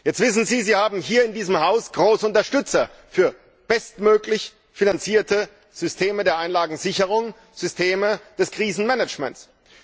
Jetzt wissen Sie, Sie haben hier in diesem Haus große Unterstützer für bestmöglich finanzierte Systeme der Einlagensicherung, Systeme des Krisenmanagements.